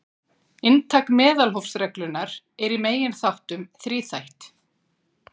Inntak meðalhófsreglunnar er í megindráttum þríþætt.